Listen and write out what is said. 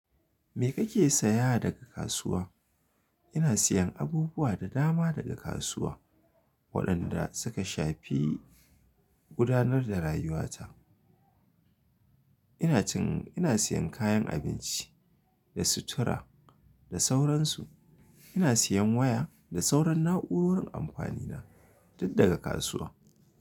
Me kake saya daga kasuwa? Ina siyan abubuwa da dama daga kasuwa waɗanda suka shafi gudanar da rayuwata. Ina cin, ina siyan kayan abinci da sutura da sauransu. Ina siyan waya da sauran na'urorin amfanina duk daga kasuwa.